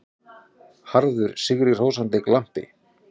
Harður, sigrihrósandi glampi.